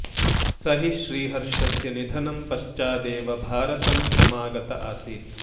स हि श्रीहर्षस्य निधनं पश्चादेव भारतं समागत आसीत्